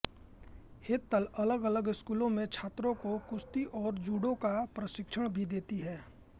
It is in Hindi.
हेतल अलगअलग स्कूलों में छात्रों को कुश्ती और जूडो का प्रशिक्षण भी देती हैं